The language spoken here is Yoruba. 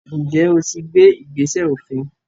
ǹjẹ́ o ti gbé “ìgbésẹ̀ òfin”.?